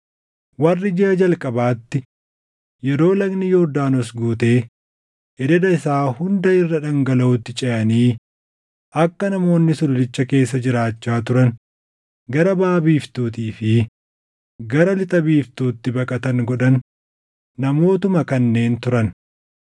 Warri jiʼa jalqabaatti yeroo lagni Yordaanos guutee ededa isaa hunda irra dhangalaʼutti ceʼanii akka namoonni sululicha keessa jiraachaa turan gara baʼa biiftuutii fi gara lixa biiftuutti baqatan godhan namootuma kanneen turan.